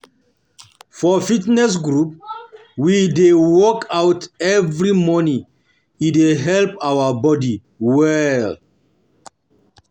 For fitness group, we dey workout every morning, e dey help our body well.